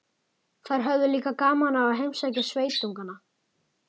Þær höfðu líka gaman af að heimsækja sveitungana.